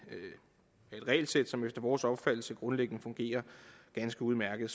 regelsæt som efter vores opfattelse grundlæggende fungerer ganske udmærket